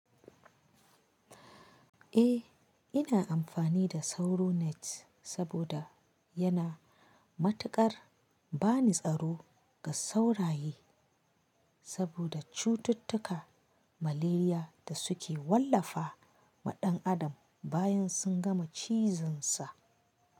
Eh, ina amfani da Sauro net saboda yana matuƙar bani tsaro ga sauraye saboda cututtuka, malaria da suke wallafa wa ɗan adam bayan sun gama cizonsa.